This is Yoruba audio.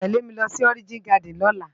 Ó gbòdò télé mi lòsi Òrijin Gàdín lòlá